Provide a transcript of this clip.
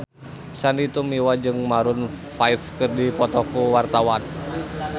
Sandy Tumiwa jeung Maroon 5 keur dipoto ku wartawan